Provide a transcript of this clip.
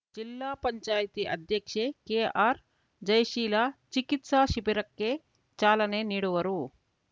ಜಿಲ್ಲಾ ಪಂಚಾಯ್ತಿ ಅಧ್ಯಕ್ಷೆ ಕೆಆರ್‌ಜಯಶೀಲ ಚಿಕಿತ್ಸಾ ಶಿಬಿರಕ್ಕೆ ಚಾಲನೆ ನೀಡುವರು